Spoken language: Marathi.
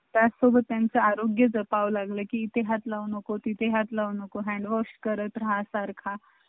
आमच्या दुकानाचं नाव टाका खाली